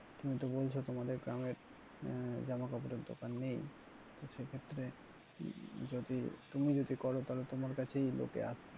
তুমিতো বলছো তোমাদের গ্রামে আহ জামা কাপড়ের দোকান নেই তো সেক্ষেত্রে যদি তুমি যদি করো তাহলে তোমার কাছেই লোকে আসবে।